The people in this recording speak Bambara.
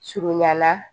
Surunyan na